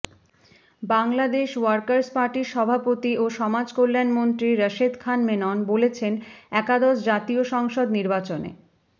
Bangladesh workers পার্টির সভাপতি ও সমাজকল্যান মন্ত্রী রাশেদ খান মেনন বলেছেন একাদশ জাতীয় সংসদ নির্বাচনে